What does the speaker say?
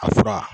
A fura